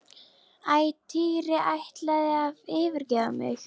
Æ, Týri ætlarðu að yfirgefa mig?